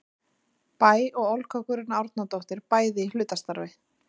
Bæ og Olga Guðrún Árnadóttir, bæði í hlutastarfi.